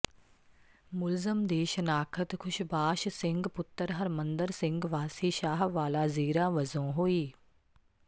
ਮੁਲਜ਼ਮ ਦੀ ਸ਼ਨਾਖਤ ਖੁਸ਼ਬਾਸ਼ ਸਿੰਘ ਪੁੱਤਰ ਹਰਮੰਦਰ ਸਿੰਘ ਵਾਸੀ ਸ਼ਾਹਵਾਲਾ ਜ਼ੀਰਾ ਵਜੋਂ ਹੋਈ